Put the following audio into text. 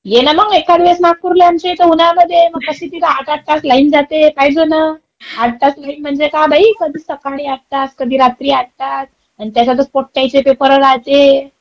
ये ना मंग एखाद्या वेळेस नागपूरला आमच्याइथं उन्हाळ्यामध्ये. मग कशी तिथं आठ-आठ तास लाईन जाते. काहीजण -- आठ तास लाईन म्हणजे काय बाई कधी सकाळी आठ तास, कधी रात्री आठ तास आणि त्याच्यातच पोट्ट्यांचे चे पेपरा राहते.